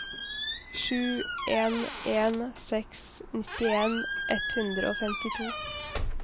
sju en en seks nittien ett hundre og femtito